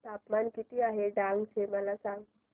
तापमान किती आहे डांग चे मला सांगा